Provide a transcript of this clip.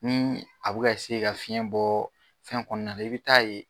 Nii a bɛ ka ka fiɲɛ bɔɔ fɛn kɔɔna na i be taa ye